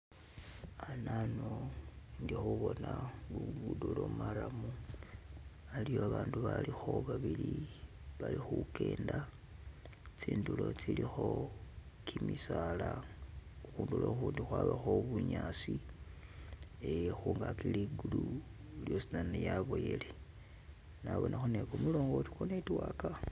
hanano indi khubona lugudo lo marram haliwo babandu balikho babili bali khugenda tsindulo tsilikho gimisaala khudulo khundi khwabakho bunyasi kuba ligulu lyosizana lyaboyele nabonakho ni gumulongoti gwo network.